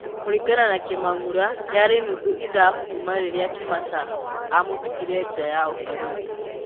Kũringana na kĩmangũra, yarĩ nuthu ithaa kuma rĩrĩa Kĩmata amũtigire nja ya ũbarũthĩ.